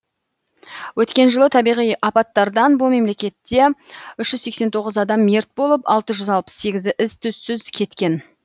өткен жылы табиғи апаттардан бұл мемлекетте үш жүз сексен тоғыз адам мерт болып алты жүз алпыс сегізі із түзсіз кеткен